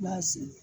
I b'a seri